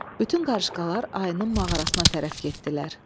Bütün qarışqalar ayının mağarasına tərəf getdilər.